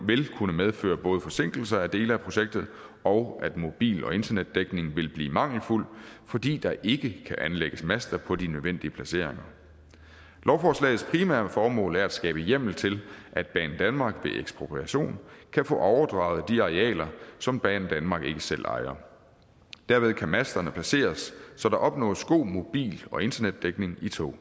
vil kunne medføre både forsinkelser af dele af projektet og at mobil og internetdækning vil blive mangelfuld fordi der ikke kan anlægges master på de nødvendige placeringer lovforslagets primære formål er at skabe hjemmel til at banedanmark ved ekspropriation kan få overdraget de arealer som banedanmark ikke selv ejer derved kan masterne placeres så der opnås god mobil og internetdækning i tog